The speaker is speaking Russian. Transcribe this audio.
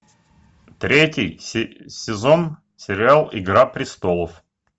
третий сезон сериал игра престолов